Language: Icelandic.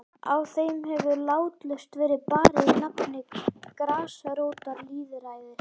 Á þeim hefur látlaust verið barið í nafni grasrótarlýðræðis.